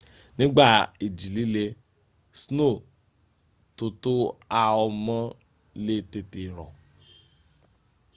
nigba iji-lile sno to to ha o mo le tete ro